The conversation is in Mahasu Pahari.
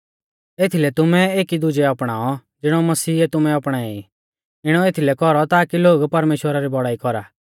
एथीलै तुमै एकी दुजै अपणाऔ ज़िणौ मसीह ऐ तुमै अपणाऐ ई इणौ एथीलै कौरौ ताकी लोग परमेश्‍वरा री बौड़ाई कौरा